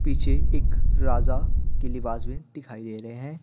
पीछे एक राजा के लिबाज में दिखाई दे रहे हैं।